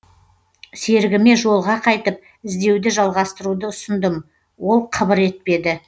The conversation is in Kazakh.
серігіме жолға қайтып іздеуді жалғастыруды ұсындым ол қыбыр етпеді